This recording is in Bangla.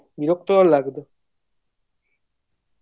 বিরক্তিকর লাগে